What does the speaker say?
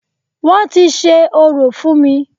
Wọ́n ti ṣe orò fún mí.